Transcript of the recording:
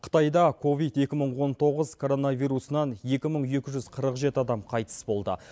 қытайда ковид екі мың он тоғыз коронавирусынан екі мың екі жүз қырық жеті адам қайтыс болды